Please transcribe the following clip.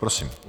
Prosím.